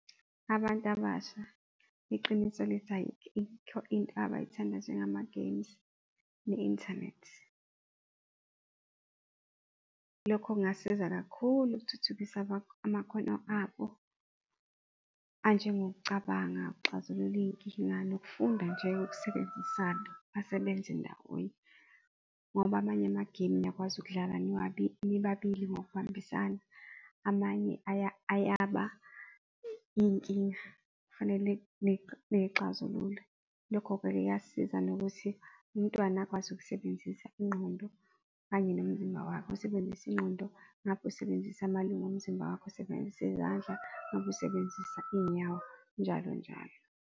Abantu abasha iqiniso lithi ayikho into abayithandayo njengama-games ne-inthanethi. Lokho kungasiza kakhulu ukuthuthukisa amakhono abo anjengokucabanga ukuxazulula iyinkinga nokufunda nje ukusebenzisana basebenze ndawonye, ngoba amanye amagemu niyakwazi ukudlala nibabili ngokubambisana amanye ayaba iyinkinga kufanele nixazulule, lokho vele kuyasiza nokuthi umntwana akwazi ukusebenzisa ingqondo kanye nomzimba wakhe, usebenzisa ingqondo usebenzisa amalunga omzimba wakhe, usebenzise izandla ngabe usebenzisa iyinyawo njalo, njalo.